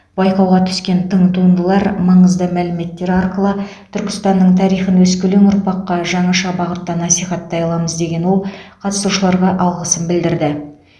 байқауға түскен тың туындылар маңызды мәліметтер арқылы түркістанның тарихын өскелең ұрпаққа жаңаша бағытта насихаттай аламыз деген ол қатысушыларға алғысын білдірді